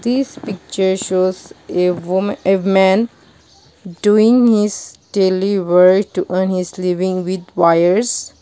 these picture shows a women a man doing his daily work on his living with wires.